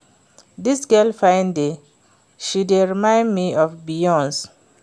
Dis girl fine die, she dey remind me of Beyonce